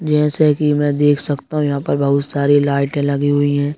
जैसे की मैं देख सकता हूं यहां पर बहुत सारी लाइटें लगी हुईं हैं।